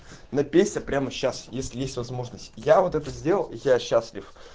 но песня прямо сейчас если есть возможность я вот это сделал и я счастлив